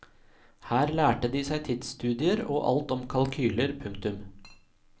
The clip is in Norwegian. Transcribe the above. Her lærte de seg tidsstudier og alt om kalkyler. punktum